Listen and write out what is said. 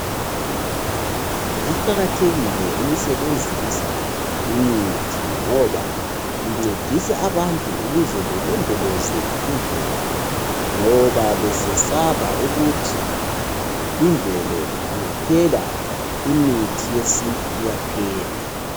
Kuqakathekile ukusebenzisa imithi ngoba kuncedisa abantu ukuze belondoloze imvelo ngoba besesaba ukuthi imvelo ingaphela imithi yesintu iyaphela.